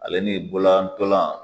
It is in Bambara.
Ale ni bololantan